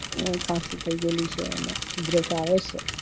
ખસી થય ગયેલી છે